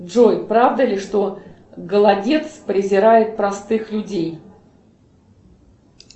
джой правда ли что голодец презирает простых людей